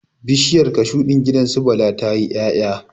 Bishiyar cashu din gidan su Bala tayi 'yaya